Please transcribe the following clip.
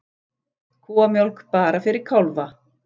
Kúamjólk bara fyrir kálfa